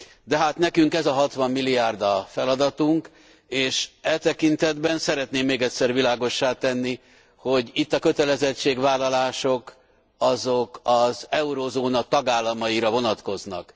De hát nekünk ez a 60 milliárd a feladatunk és e tekintetben szeretném még egyszer világossá tenni, hogy itt a kötelezettségvállalások azok az eurózóna tagállamaira vonatkoznak.